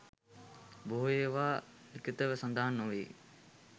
බොහෝ ඒවා ලිඛිතව සඳහන් නොවේ.